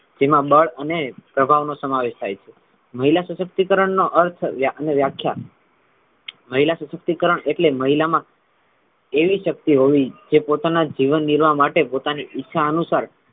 જેમા બળ અને પ્રભાવ નો સમાવેશ થાય છે મહિલા સશક્તિકરણ નો અર્થ અને વ્યા વ્યાખ્યા મહિલા સશક્તિકરણ એટલે મહિલા મા એવી શક્તિ હોવી જે પોતાનાં જીવન નિર્વાહ માટે પોતાની ઈચ્છા અનુસાર,